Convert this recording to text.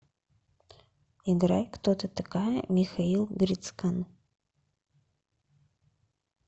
играй кто ты такая михаил грицкан